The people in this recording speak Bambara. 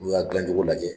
N'u y'a dilan cogo lajɛ